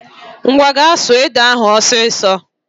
Common go and pound that Cocoyam ọsịsọ